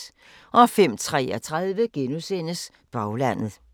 05:33: Baglandet *